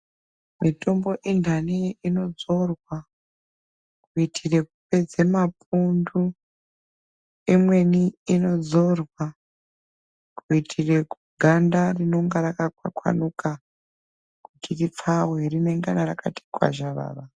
Mitombo ithani inodzorwa kuitira kupedza mapundu imweni inodzorwa kuitira ganda rinenge rakakwakwanuka kuti ripfawe rinenge rakati kwazharara.